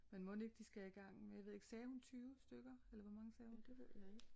Men mon ikke de skal igang jeg ved ikke sagde hun 20 stykker eller hvor mange sagde hun?